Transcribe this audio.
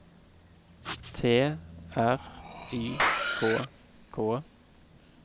T R Y K K